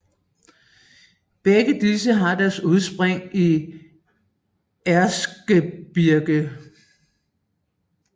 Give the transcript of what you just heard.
Begge disse har deres udspring i Erzgebirge